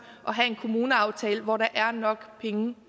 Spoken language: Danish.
at have en kommuneaftale hvor der er nok penge